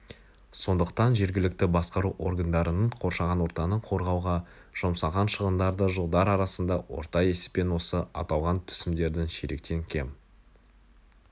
сондықтан жергілікті басқару органдарының қоршаған ортаны қорғауға жұмсаған шығындары жылдар арасында орта есеппен осы аталған түсімдердің ширектен кем